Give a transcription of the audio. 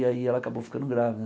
E aí ela acabou ficando grávida.